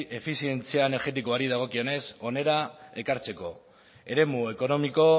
efizientzia energetikoari dagokionez hona ekartzeko eremu ekonomiko